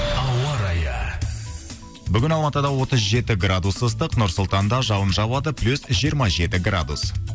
ауа райы бүгін алматыда отыз жеті градус ыстық нұр сұлтанда жауын жауады плюс жиырма жеті градус